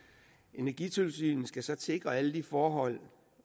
energitilsynet skal så sikre alle de forhold